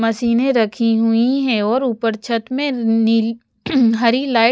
मशीनें रखी हुई है और ऊपर छत में नील हरी लाइट --